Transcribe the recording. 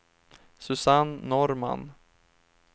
Susanne Norrman